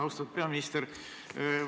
Austatud peaminister!